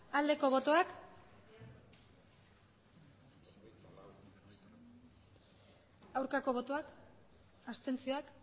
aldeko botoak aurkako botoak abstentzioak